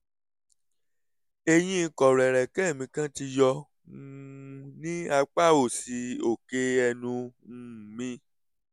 eyín kọ̀rọ̀ ẹ̀rẹ̀kẹ́ mi kan ti yọ um ní apá òsì òkè ẹnu um mi